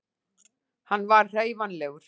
hann var hreyfanlegur